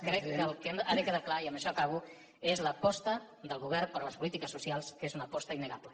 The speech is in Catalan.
crec que el que ha de quedar clar i amb això acabo és l’aposta del govern per les polítiques socials que és una aposta innegable